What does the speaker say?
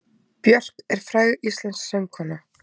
Björk er fræg íslensk söngkona.